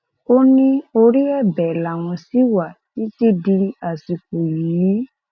ó ní orí ẹbẹ làwọn ṣì wà títí di àsìkò yìí